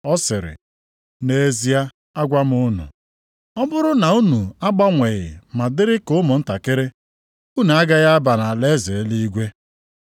ọ sịrị, “Nʼezie, agwa m unu, ọ bụrụ na unu agbanweghị ma dịrị ka ụmụntakịrị, unu agaghị aba nʼalaeze eluigwe.